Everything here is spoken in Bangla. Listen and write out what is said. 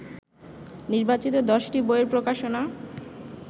নির্বাচিত দশটি বইয়ের প্রকাশনা